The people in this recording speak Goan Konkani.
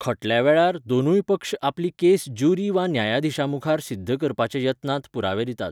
खटल्यावेळार, दोनूय पक्ष आपली केस ज्युरी वा न्यायाधीशामुखार सिध्द करपाच्या यत्नांत पुरावे दितात.